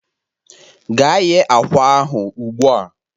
Gaa ghe akwa ahụ ugbu a!